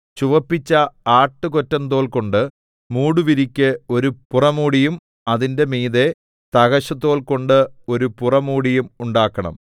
ചുവപ്പിച്ച ആട്ടുകൊറ്റന്തോൽകൊണ്ട് മൂടുവിരിക്ക് ഒരു പുറമൂടിയും അതിന്റെ മീതെ തഹശുതോൽ കൊണ്ട് ഒരു പുറമൂടിയും ഉണ്ടാക്കണം